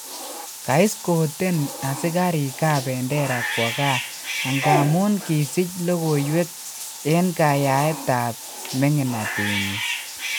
Kaiskoten asikarik Kabendera kwo gaa angamun kisich logoiwek en kayaet ab mengnatenyin